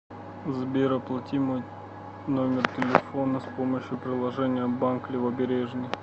сбер оплати мой номер телефона с помощью приложения банк левобережный